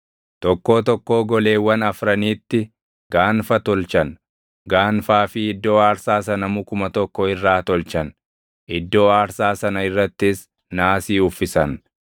Tokkoo tokkoo goleewwan afraniitti gaanfa tolchan; gaanfaa fi iddoo aarsaa sana mukuma tokko irraa tolchan; iddoo aarsaa sana irrattis naasii uffisan.